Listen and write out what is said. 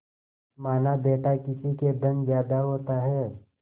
मानाबेटा किसी के धन ज्यादा होता है